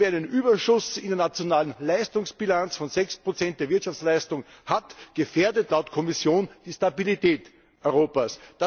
Wer einen Überschuss in der nationalen Leistungsbilanz von 6 der Wirtschaftsleistung hat, gefährdet laut Kommission die Stabilität Europas.